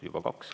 Juba kaks.